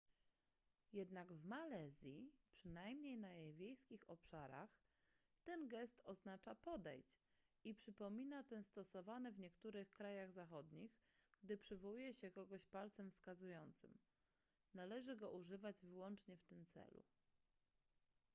jednak w malezji przynajmniej na jej wiejskich obszarach ten gest oznacza podejdź i przypomina ten stosowany w niektórych krajach zachodnich gdy przywołuje się kogoś palcem wskazującym należy go używać wyłącznie w tym celu